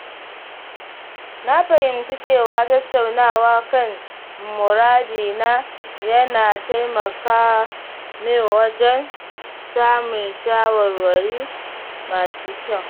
Na fahimci cewa tattaunawa kan muradina yana taimaka min wajen samun shawarwari masu kyau.